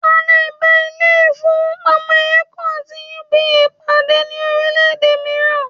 À lè bá ilé ìfowópamọ́ Eco àti UBA pàdé ní orílẹ̀-èdè mìíràn